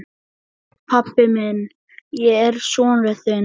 Sæll, pabbi minn, ég er sonur þinn.